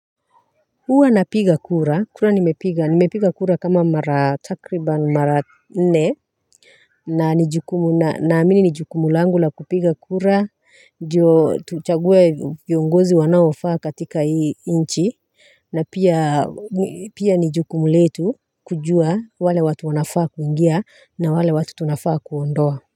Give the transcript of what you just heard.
Huwa napiga kura kura nimepiga nimepiga kura kama mara takriban mara nne na ni jukumu na na mi ni jukumu langu la kupiga kura ndiyo tuchague viongozi wanaofaa katika hii nchi na pia pia ni jukumu letu kujua wale watu wanafaa kuingia na wale watu tunafaa kuondoa.